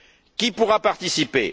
Qui pourra participer?